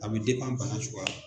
A bi bana suguya la.